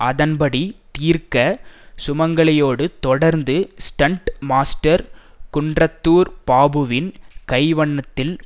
அதன்படி தீர்க்க சுமங்கலியோடு தொடர்ந்து ஸ்டண்ட் மாஸ்டர் குன்றத்தூர் பாபுவின் கைவண்ணத்தில்